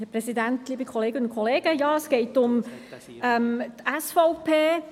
Es geht um die Motion der SVP.